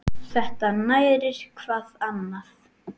Þetta nærir hvað annað.